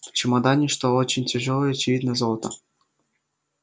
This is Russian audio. в чемодане что очень тяжёлое очевидно золото